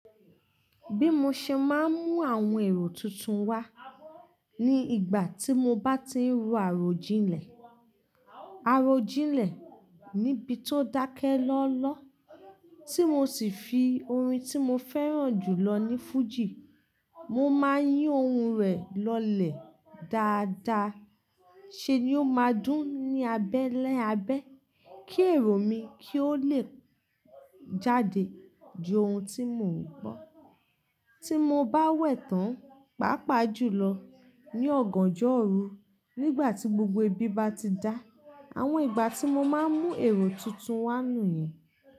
Bí mo ṣe máa ń mú àwọn èrò tuntun wá, ní ìgbà tí mo bá ti ń ro àròjinlẹ̀, àròjinlẹ̀ níbi tó dákẹ́ lọ́lọ́, tí mo sì fi orin tí mo fẹ́ràn jù lọ ní fújì, mo máa ń yí ohun rẹ̀ lọlẹ̀ dáadáa, ṣe ni ó máa dún ní abẹ́lé abẹ́, kí èrò mi kí ó le jáde ju ohun tí mò ń gbọ́. Tí mo bá wẹ̀ tán, pàápàá jù lọ ní ọ̀gànjọ́ òru, nígbà tí gbogbo ibi bá ti dá. Àwọn ìgbà tí mo máa ń mú èrò tuntun wá nù yẹn.